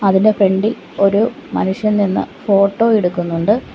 അതിന്റെ ഫ്രണ്ട്‌ ഇൽ ഒരു മനുഷ്യൻ നിന്ന് ഫോട്ടോ എടുക്കുന്നുണ്ട്.